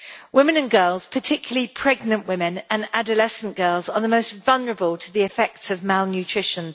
Women and girls, particularly pregnant women and adolescent girls, are the most vulnerable to the effects of malnutrition.